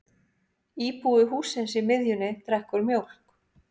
Íbúi hússins í miðjunni drekkur mjólk.